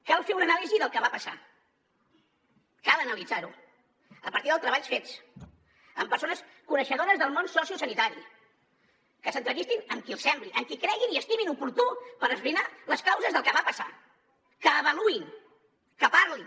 cal fer una anàlisi del que va passar cal analitzar ho a partir dels treballs fets amb persones coneixedores del món sociosanitari que s’entrevistin amb qui els sembli amb qui creguin i estimin oportú per esbrinar les causes del que va passar que avaluïn que parlin